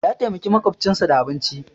Ya taimaki maƙwabcinsa da abinci